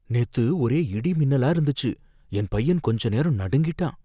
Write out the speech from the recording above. நேத்து ஒரே இடி, மின்னலா இருந்துச்சு, என் பையன் கொஞ்ச நேரம் நடுங்கிட்டான்.